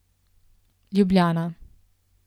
Ljubljana.